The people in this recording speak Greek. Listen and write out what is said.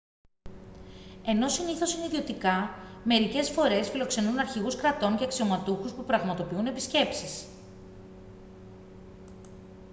ενώ συνήθως είναι ιδιωτικά μερικές φορές φιλοξενούν αρχηγούς κρατών και αξιωματούχους που πραγματοποιούν επισκέψεις